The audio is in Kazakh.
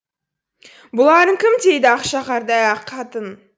бұларың кім дейді ақша қардай ақ қатын